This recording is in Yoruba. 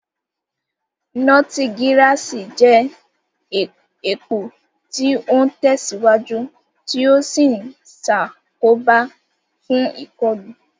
Notigirasi jẹ́ èpò tí ó ń tẹ̀síwájú tí ó sì ń ṣàkóbá fún ìkọlù.